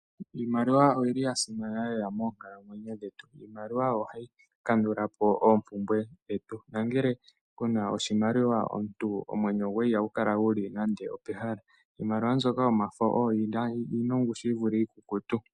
Imaliwa oyi li ya simana lela moonkalamwenyo dhetu. Iimaliwa oyo ha yi kandula po oompumbwe dhetu, nangele ku na oshimaliwa omuntu omwenyo gwoye ihagu kala guli nande opehala. Iimaliwa mbyoka yomafo oyo yi na ongushu yi vule iikukutu.